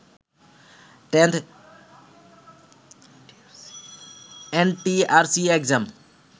10th ntrca exam